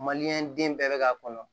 den bɛɛ bɛ k'a kɔnɔ